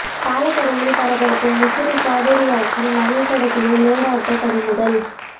பாலக்கரையில் பரபரப்பு முசிறி காவிரியாற்றில் மணல் கடத்திய லோடு ஆட்டோ பறிமுதல்